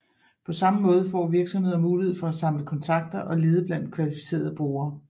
På samme måde får virksomheder mulighed for at samle kontakter og lede blandt kvalificerede brugere